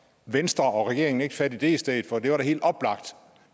venstre og regeringen ikke fat i det i stedet for det var da helt oplagt